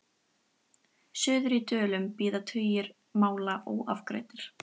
Suður í Dölum bíða tugir mála óafgreidd.